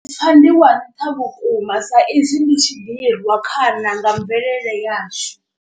Pfha ndi wa nṱha vhukuma sa izwi ndi tshi ḓirwa khana nga mvelele yashu.